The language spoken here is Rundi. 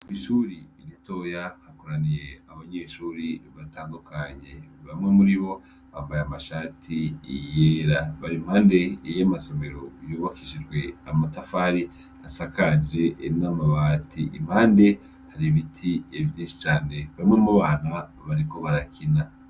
Ishure ritoya hakoraniye abanyeshure batandukanye bamwe muribo bambaye amashati yera barimpande yamasomero yubakishijwe amatafari asakaje namabati impande hari ibiti vyinshi cane bamwe mubana bariko barakina